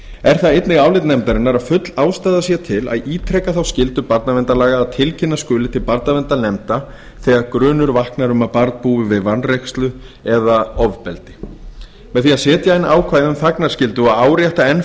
er það einnig álit nefndarinnar að full ástæða sé til að ítreka þá skyldu barnaverndarlaga að tilkynna skuli til barnaverndarnefnda þegar grunur vaknar um að barn búi við vanrækslu eða ofbeldi með því að setja inn ákvæði um þagnarskyldu og árétta enn